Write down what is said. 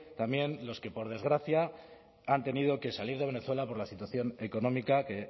también los que por desgracia han tenido que salir de venezuela por la situación económica que